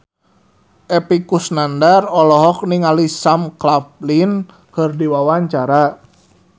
Epy Kusnandar olohok ningali Sam Claflin keur diwawancara